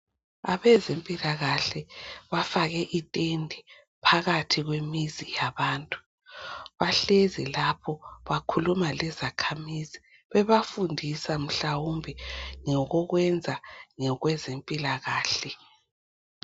Abezempilakahle bafake itende phakathi kwemizi yabantu. Bahlezi lapho bakhuluma lezakhamizi bebafundisa mhlawumbe ngokokwenza ngokwempilakahle.